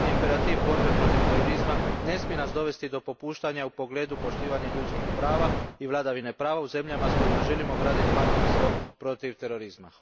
Trenutni imperativ borbe protiv terorizma ne smije nas dovesti do popuštanja u pogledu poštivanja ljudskih prava i vladavine prava u zemljama s kojima želimo graditi partnerstvo protiv terorizma.